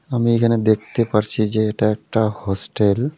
আমি এইখানে দেখতে পারছি যে এটা এট্টা হোস্টেল .